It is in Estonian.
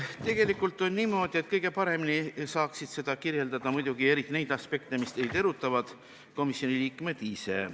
Tegelikult on niimoodi, et kõige paremini saaksid seda kirjeldada komisjoni liikmed ise, eriti neid aspekte, mis teid erutavad.